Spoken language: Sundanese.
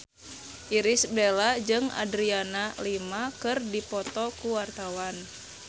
Irish Bella jeung Adriana Lima keur dipoto ku wartawan